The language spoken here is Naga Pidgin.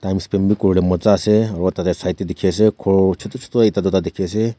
kori ley moja ase aru tah teh Side teh dikhi ase ghor chotu chotu ekta dikhi ase.